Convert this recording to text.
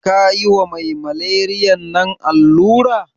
Kayi ma mai maleriyan nan allura?